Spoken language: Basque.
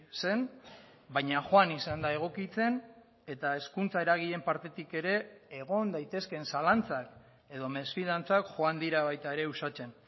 zen baina joan izan da egokitzen eta hezkuntza eragileen partetik ere egon daitezkeen zalantzak edo mesfidantzak joan dira baita ere uxatzen